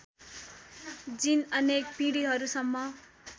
जिन अनेक पिँढिहरूसम्म